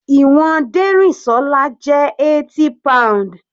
Ìwọ̀n Derinsola jẹ́ 80 pounds.